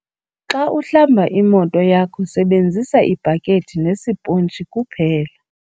Xa uhlamba imoto yakho sebenzisa ibhakhethi nesiphontshi kuphela.